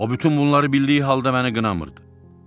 O bütün bunları bildiyi halda məni qınamırdı.